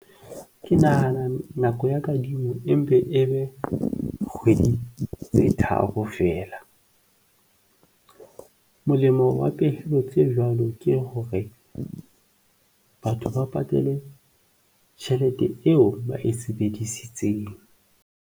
Ke nahana nako ya kadimo e mpe e be kgwedi tse tharo feela. Molemo wa pehelo tse jwalo ke hore batho ba patale tjhelete eo ba e sebedisitseng.